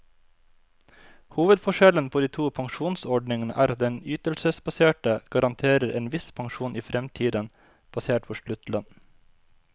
Hovedforskjellen på de to pensjonsordningene er at den ytelsesbaserte garanterer en viss pensjon i fremtiden, basert på sluttlønn.